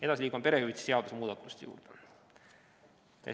Edasi liigume perehüvitise seaduse muudatuste juurde.